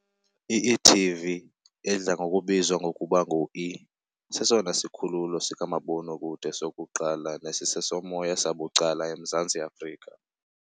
I-e.tv, edla ngokubizwa ngokuba ngue, sesona sikhululo sikamabonakude sokuqala nesisesomoya sabucala eMzantsi Afrika .